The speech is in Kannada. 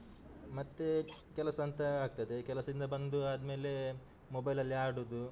ಮತ್ತೆ ಕೆಲಸ ಅಂತ ಆಗ್ತದೆ, ಕೆಲಸದಿಂದ ಬಂದು ಆದ್ಮೇಲೆ mobile ಅಲ್ಲಿ ಆಡುದು.